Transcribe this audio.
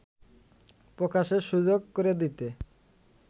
প্রকাশের সুযোগ করে দিতে